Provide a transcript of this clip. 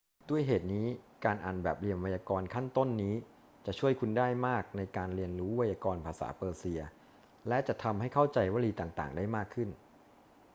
ด้วยเหตุนี้ การอ่านแบบเรียนไวยากรณ์ขั้นต้นนี้จะช่วยคุณได้มากในการเรียนรู้ไวยากรณ์ภาษาเปอร์เซีย และจะทำให้เข้าใจวลีต่าง ๆ ได้มากขึ้น